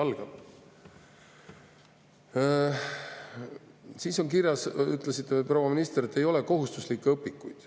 Proua minister, te ütlesite, et ei ole kohustuslikke õpikuid.